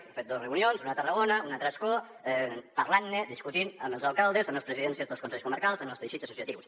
hem fet dos reunions una a tarragona una altra a ascó parlant ne discutint ho amb els alcaldes amb les presidències dels consells comarcals amb els teixits associatius